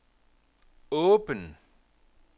åben